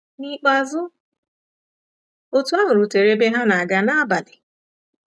N’ikpeazụ, otu ahụ rutere ebe ha na-aga n'abalị.